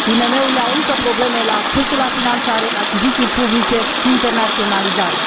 IMM urile au încă probleme la accesul la finanțare, achiziții publice, internaționalizare.